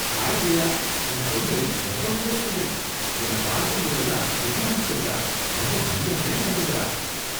Hi Jaya! உன் பொண்ணு ரொம்ப நல்ல ஸ்டூடண்ட். என்னை பார்க்கும்போதெல்லாம் குட்மார்னிங் சொல்றா, ரொம்ப மரியாதையா நடந்துக்கறா.